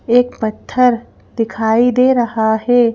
एक पत्थर दिखाइ दे रहा है।